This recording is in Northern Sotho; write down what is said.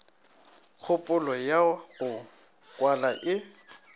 kgopolo ya go kwala e